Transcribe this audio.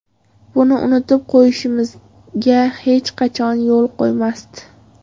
Buni unutib qo‘yishimizga hech qachon yo‘l qo‘ymasdi.